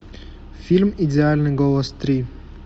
фильм идеальный голос три